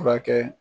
Furakɛ